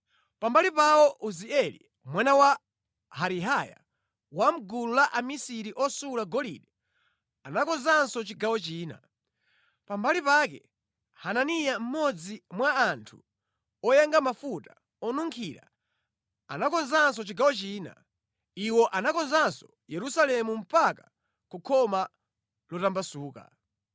Pambali pawo Uzieli mwana wa Harihaya wa mʼgulu amisiri osula golide anakonzanso chigawo china. Pambali pake Hananiya mmodzi mwa anthu oyenga mafuta onunkhira, anakonzanso chigawo china. Iwo anakonzanso Yerusalemu mpaka ku Khoma Lotambasuka.